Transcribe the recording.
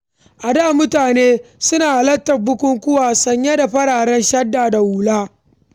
A da, mutane suna halartar bukukkuwa sanye da fararen shadda da hula.